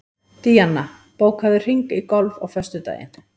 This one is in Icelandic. Díanna, bókaðu hring í golf á föstudaginn.